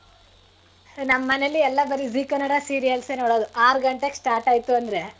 ನಮ್ ಮನೇಲಿ ಎಲ್ಲ ಬರೀ zee ಕನ್ನಡ serials ಏ ನೋಡೋದು ಆರ್ ಗಂಟೆಗೆ start ಆಯ್ತು ಅಂದ್ರೆ.